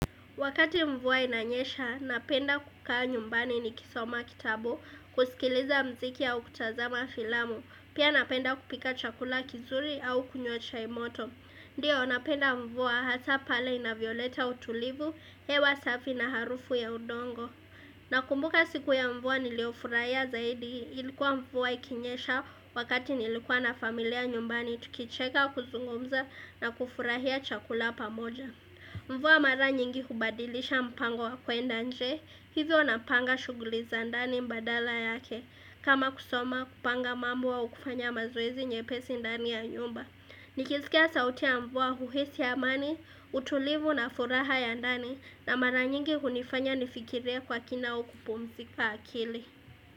Wakati mvua inanyesha, napenda kukaa nyumbani ni kisoma kitabu, kusikiliza muziki au kutazama filamu. Pia napenda kupika chakula kizuri au kunywa chaimoto. Ndiyo, ninapenda mvua hasa pale inavyoleta utulivu, hewa safi na harufu ya udongo. Nakumbuka siku ya mvua niliyofurahia zaidi ilikuwa mvua ikinyesha wakati nilikuwa na familia nyumbani tukicheka kuzungumza na kufurahia chakula pamoja. Mvua mara nyingi hubadilisha mpango wa kuenda nje, hivyo na panga shughuli za ndani badala yake, kama kusoma kupanga mambo au kufanya mazoezi nyepesi ndani ya nyumba. Nikisikia sauti ya mvua uhisi amani, utulivu na furaha ya ndani na mara nyingi hunifanya nifikirie kwa kina au kupumzika akili.